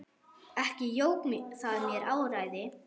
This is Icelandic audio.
Ekki jók það mér áræði.